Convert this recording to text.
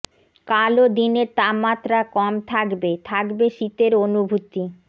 কালও দিনের তাপমাত্রা কম থাকবে থাকবে শীতের অনুভূতি